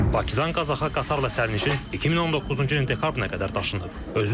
Bakıdan Qazaxa qatarla sərnişin 2019-cu ilin dekabrına qədər daşınıb.